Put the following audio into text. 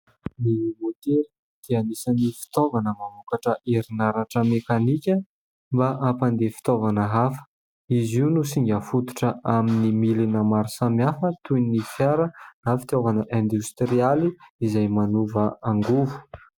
Ny motera dia anisin'ny fitaovana mamokatra herinaratra mekanika mba hampandeha fitaovana hafa izy io no singa fototra amin'ny milina maro samihafa toin' ny fiara na fitaovana indostrialy izay manova angovo.